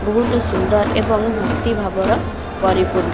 ବହୁତ ସୁନ୍ଦର ଏବଂ ଭକ୍ତି ଭାବର ପରିପୂର୍ଣ୍ --